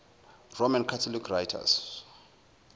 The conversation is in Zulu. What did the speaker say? roman catholic writers